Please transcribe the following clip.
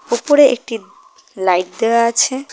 উপরে একটি লাইট দেওয়া আছে।